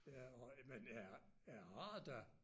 Ja og men jeg jeg har da